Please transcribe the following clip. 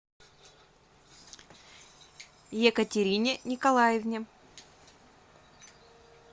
екатерине николаевне